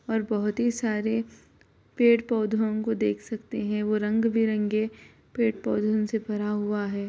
और बहोत ही सारे पेड़-पौधों को देख सकते है वो रंग-बिरंगे पेड़-पौधन से भरा हुआ है।